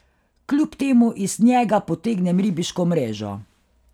Kljub temu iz njega potegnem ribiško mrežo.